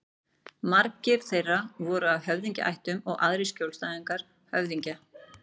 Margir þeirra voru af höfðingjaættum og aðrir skjólstæðingar höfðingja.